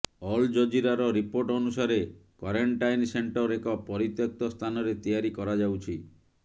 all ଜଜୀରାର report ଅନୁସାରେ quarantine centre ଏକ ପରିତ୍ୟକ୍ତ ସ୍ଥାନରେ ତିଆରି କରାଯାଉଛି